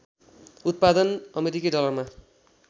उत्पादन अमेरिकी डलरमा